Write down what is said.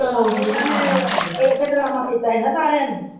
ਇੱਕ ਡਰਾਮਾ ਕੀਤਾ ਸੀ ਨਾ ਸਾਰੀਆਂ ਨੇ।